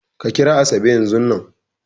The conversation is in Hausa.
Ka kira Asabe yanzun nan!